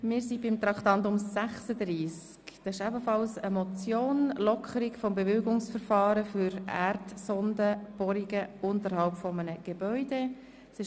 Wir sind bei Traktandum 36 angelangt, einer Motion mit dem Titel «Lockerung der Bewilligungsverfahren für Erdsondenbohrungen unterhalb des Gebäudes».